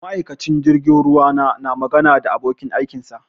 Ma'aikincin jirgin ruwa na na magana da abokin aikin sa